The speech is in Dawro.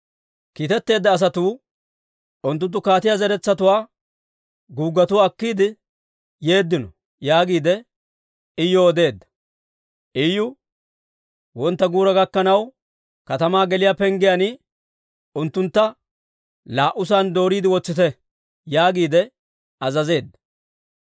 Kiitetteedda asatuu, «Unttunttu kaatiyaa zaratuwaa guuggetuwaa akkiide yeeddino» yaagiide Iyuw odeedda. Iyu, «Wontta guura gakkanaw, katamaa geliyaa penggiyaan unttuntta laa"usan dooriide wotsite» yaagiide azazeedda.